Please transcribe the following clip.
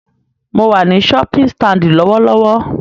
Mo wà ní shopping stand lọ́wọ́lọ́wọ́